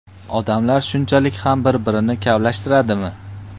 Odamlar shunchalik ham bir-birini kavlashtiradimi?